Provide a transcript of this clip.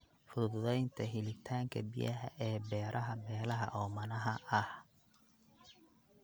Fududeynta helitaanka biyaha ee beeraha meelaha oomanaha ah.